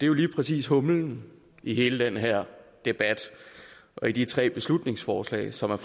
jo lige præcis humlen i den her debat og de tre beslutningsforslag som